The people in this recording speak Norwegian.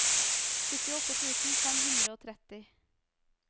syttiåtte tusen fem hundre og tretti